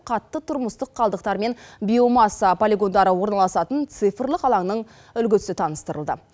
қатты тұрмыстық қалдықтар мен биомасса полигондары орналасатын цифрлық алаңның үлгісі таныстырылды